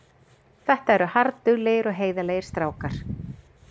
Þetta er harðduglegir og heiðarlegir strákar.